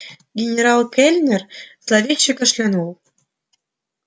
генерал кэллнер зловеще кашлянул